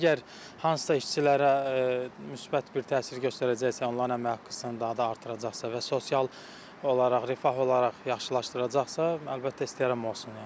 Əgər hansısa işçilərə müsbət bir təsir göstərəcəksə, onların əmək haqqını daha da artıracaqsa və sosial olaraq, rifah olaraq yaxşılaşdıracaqsa, əlbəttə, istəyərəm olsun.